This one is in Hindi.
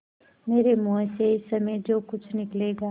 मेरे मुँह से इस समय जो कुछ निकलेगा